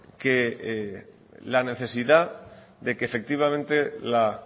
que la necesidad de que efectivamente la